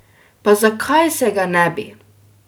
Pa zakaj se ga ne bi?